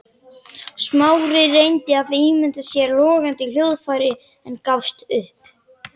Smári reyndi að ímynda sér logandi hljóðfærið en gafst upp.